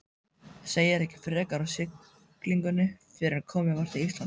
Segir ekki frekar af siglingunni fyrren komið var til Íslands.